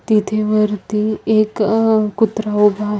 तिथे वरती एक अ कुत्रा उभा--